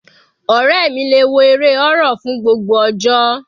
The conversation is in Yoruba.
Ọ̀rẹ́ mi le wo eré horror fún gbogbo ọjọ́.